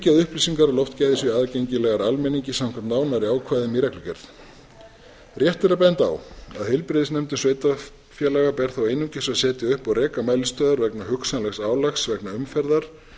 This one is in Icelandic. upplýsingar um loftgæði séu aðgengilegar almenningi samkvæmt nánari ákvæðum í reglugerð rétt er að benda á að heilbrigðisnefndum sveitarfélaga ber þó einungis að setja upp og reka mælistöðvar vegna hugsanlegs álags vegna umferðar